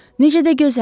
Necə də gözəldir!